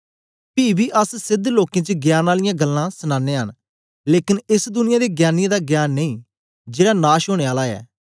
पी बी अस सेध लोकें च ज्ञान आलियां गल्लां सनानयां न लेकन एस दुनिया दे ज्ञानीयें दा ज्ञान नहीं जेड़ा नाश ओंने आले न